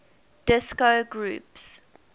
disco groups